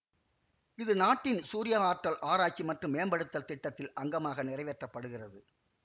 இது நாட்டின் சூரியவாற்றல் ஆராய்ச்சி மற்றும் மேம்படுத்தல் திட்டத்தில் அங்கமாக நிறைவேற்றப்படுகிறது